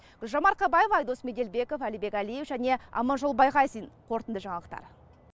гүлжан марқабаева айдос меделбеков әлібек әлиев және аманжол байғазин қорытынды жаңалықтар